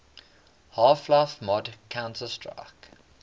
half life mod counter strike